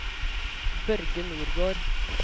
Børge Nordgård